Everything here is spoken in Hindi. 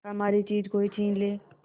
हमारी चीज कोई छीन ले